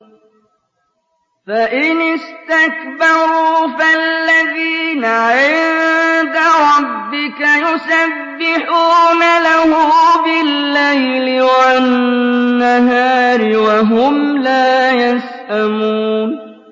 فَإِنِ اسْتَكْبَرُوا فَالَّذِينَ عِندَ رَبِّكَ يُسَبِّحُونَ لَهُ بِاللَّيْلِ وَالنَّهَارِ وَهُمْ لَا يَسْأَمُونَ ۩